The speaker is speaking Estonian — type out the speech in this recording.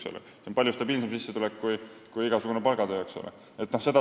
See on palju stabiilsem sissetulek kui igasugune palgatöö.